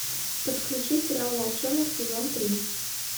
подключи сериал волчонок сезон три